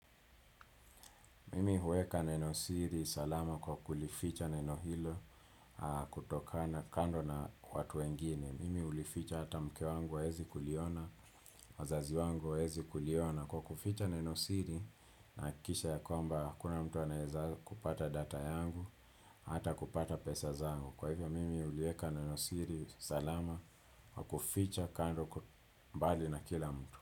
Mimi huweka neno siri salama kwa kulificha neno hilo kutokana kando na watu wengine. Mimi ulificha hata mke wangu hawezi kuliona, wazazi wangu hawaezi kuliona kwa kuficha neno siri nahakikisha ya kwamba hakuna mtu anaeza kupata data yangu, hata kupata pesa zangu. Kwa hivyo, mimi uliweka neno siri salama kwa kuficha kando mbali na kila mtu.